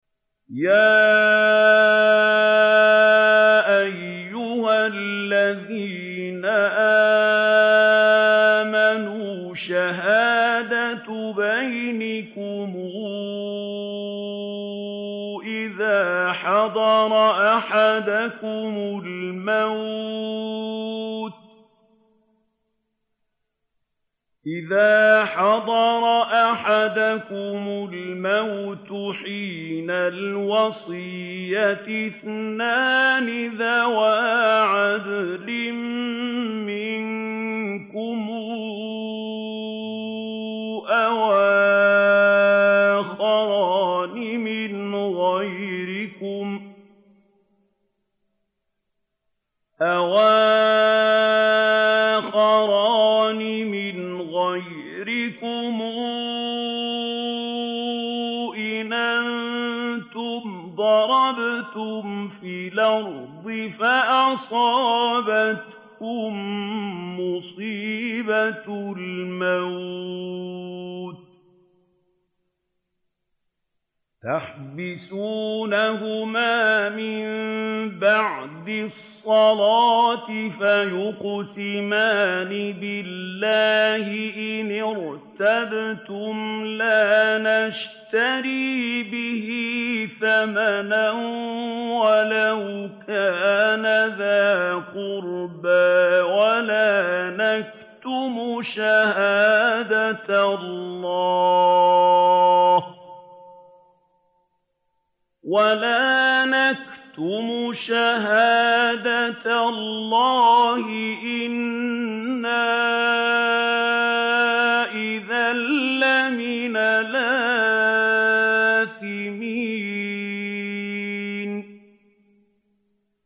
يَا أَيُّهَا الَّذِينَ آمَنُوا شَهَادَةُ بَيْنِكُمْ إِذَا حَضَرَ أَحَدَكُمُ الْمَوْتُ حِينَ الْوَصِيَّةِ اثْنَانِ ذَوَا عَدْلٍ مِّنكُمْ أَوْ آخَرَانِ مِنْ غَيْرِكُمْ إِنْ أَنتُمْ ضَرَبْتُمْ فِي الْأَرْضِ فَأَصَابَتْكُم مُّصِيبَةُ الْمَوْتِ ۚ تَحْبِسُونَهُمَا مِن بَعْدِ الصَّلَاةِ فَيُقْسِمَانِ بِاللَّهِ إِنِ ارْتَبْتُمْ لَا نَشْتَرِي بِهِ ثَمَنًا وَلَوْ كَانَ ذَا قُرْبَىٰ ۙ وَلَا نَكْتُمُ شَهَادَةَ اللَّهِ إِنَّا إِذًا لَّمِنَ الْآثِمِينَ